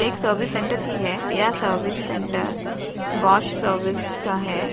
एक service centre की है यह सर्विस सेंटेर बॉश सर्विस का है।